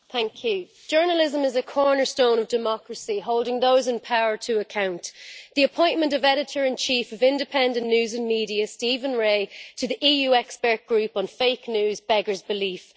Madam President, journalism is a cornerstone of democracy, holding those in power to account. The appointment of Editor in Chief of Independent News Media, Stephen Rae, to the EU Expert Group on Fake News beggars belief.